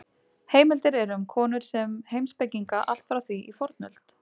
Heimildir eru um konur sem heimspekinga allt frá því í fornöld.